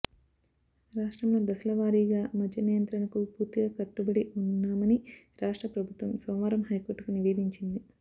రాష్ట్రంలో దశల వారీగా మద్య నియంత్రణకు పూర్తిగా కట్టుబడి ఉన్నామని రాష్ట్ర ప్రభుత్వం సోమవారం హైకోర్టుకు నివేదించింది